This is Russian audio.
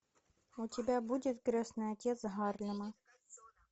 у тебя будет крестный отец гарлема